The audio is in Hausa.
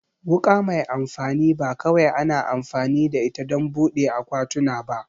Wuka mai amfani ba kawai ana amfani da ita don buɗe akwatuna ba